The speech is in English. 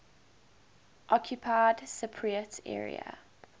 occupied cypriot area